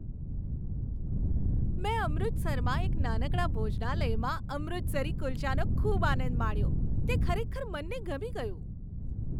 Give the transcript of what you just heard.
મેં અમૃતસરમાં એક નાનકડા ભોજનાલયમાં અમૃતસરી કુલ્ચાનો ખૂબ આનંદ માણ્યો. તે ખરેખર મનને ગમી ગયું.